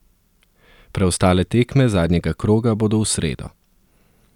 Preostale tekme zadnjega kroga bodo v sredo.